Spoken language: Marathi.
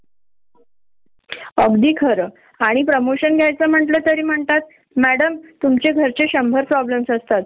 होण, आणि अग पाळणाघरात तसंच होत ती लहान मूल हे ना आता माझी आई येणार, मग वाट बघत असेलेली असतात आणि आपण